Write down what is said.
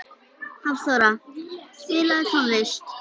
Hafþóra, spilaðu tónlist.